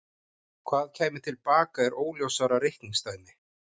Hvað kæmi til baka er óljósara reikningsdæmi.